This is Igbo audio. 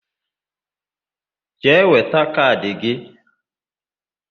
Jee weta kaadị gị!